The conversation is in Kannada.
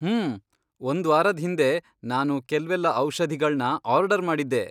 ಹ್ಮೂ, ಒಂದ್ವಾರದ್ ಹಿಂದೆ ನಾನು ಕೆಲ್ವೆಲ್ಲ ಔಷಧಿಗಳ್ನ ಆರ್ಡರ್ ಮಾಡಿದ್ದೆ.